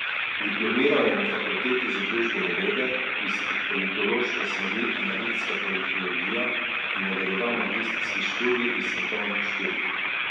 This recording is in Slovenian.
Diplomiral je na fakulteti za družbene vede, iz politološke smeri analitska politologija, in nadaljeval magistrski študij iz svetovnih študij.